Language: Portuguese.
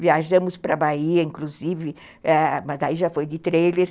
Viajamos para a Bahia, inclusive, ãh, mas daí já foi de trailer.